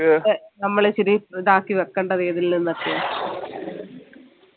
നമ്മൾ ഇച്ചിരി താഴ്ത്തി വെക്കേണ്ടത് ഏതിൽ നിന്നൊക്കെയാ